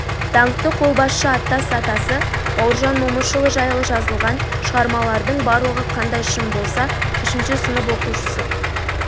даңқты қолбасшы аттас атасы бауыржан момышұлы жайлы жазылған шығармалардың барлығы қандай шын болса үшінші сынып оқушысы